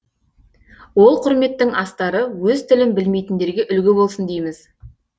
ол құрметтің астары өз тілін білмейтіндерге үлгі болсын дейміз